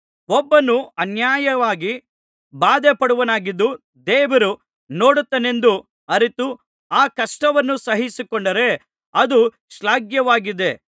ಒಬ್ಬನು ಅನ್ಯಾಯವಾಗಿ ಬಾಧೆಪಡುವವನಾಗಿದ್ದು ದೇವರು ನೋಡುತ್ತಾನೆಂದು ಅರಿತು ಆ ಕಷ್ಟವನ್ನು ಸಹಿಸಿಕೊಂಡರೆ ಅದು ಶ್ಲಾಘ್ಯವಾಗಿದೆ